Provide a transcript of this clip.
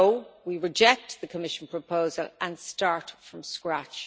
that we reject the Commission proposal and start from scratch.